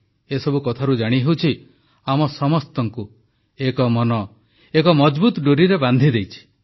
ଏସବୁ କଥାରୁ ଜାଣିହେଉଛି ଆମ ସମସ୍ତଙ୍କୁ ଏକ ମନ ଏକ ମଜଭୁତ ଡୋରି ବାନ୍ଧିଦେଇଛି